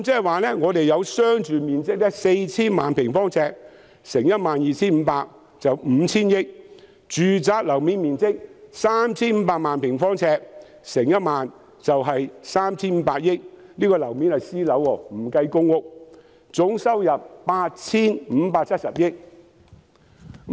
換言之，商住面積 4,000 萬平方呎，乘 12,500 元是 5,000 億元；住宅樓面面積 3,500 萬平方呎，乘1萬元是 3,500 億元，這是私樓的面積，不計公屋，總收入是 8,570 億元。